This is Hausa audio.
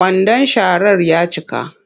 Kwandon sharar ya cika